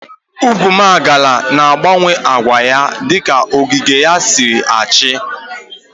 Ugwumagala na agbawe agwa ya dika ogige ya SI acha.